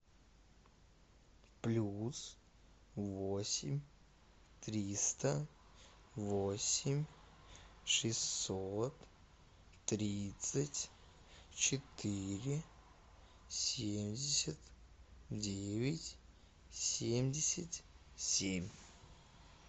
плюс восемь триста восемь шестьсот тридцать четыре семьдесят девять семьдесят семь